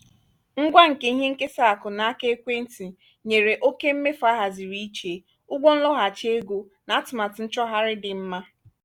ngwa nke ihe nkesa akụ n’aka ekwentị nyere oke mmefu ahaziri iche ụgwọ nloghachi ego na atụmatụ nchọgharị dị mma.